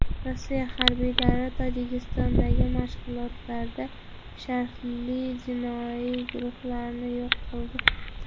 Rossiya harbiylari Tojikistondagi mashg‘ulotlarda shartli jinoiy guruhlarni yo‘q qildi.